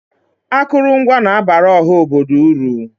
Akụrụngwa na-abara ọha obodo uru.